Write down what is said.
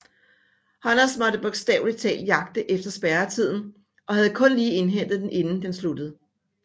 Honners måtte bogstavelig talt jagte efter spærreilden og havde kun lige indhentet den inden den sluttede